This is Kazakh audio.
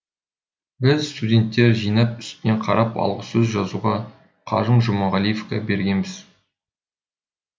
біз студенттер жинап үстінен қарап алғысөз жазуға қажым жұмағалиевке бергенбіз